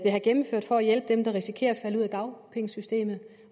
have gennemført for at hjælpe dem der risikerer at falde ud af dagpengesystemet